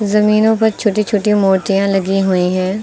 जमीनों प छोटी छोटी मूर्तियां लगी हुई है।